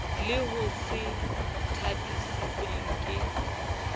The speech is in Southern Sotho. le ho se thabiswe ke